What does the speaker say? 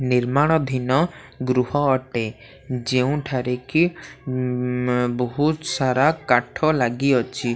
ନିର୍ମାଣ ଧିନ ଗୃହ ଅଟେ ଯେଉଁଠାରେକି ବହୁତ୍ ସାରା କାଠ ଲାଗିଅଛି।